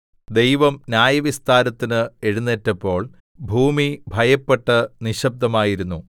ദൈവം ന്യായവിസ്താരത്തിന് എഴുന്നേറ്റപ്പോൾ ഭൂമി ഭയപ്പെട്ട് നിശ്ശബ്ദമായിരുന്നു സേലാ